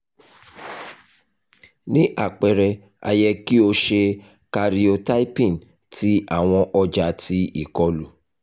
ni apẹrẹ a yẹ ki o ṣe karyotyping ti awọn ọja ti ikolu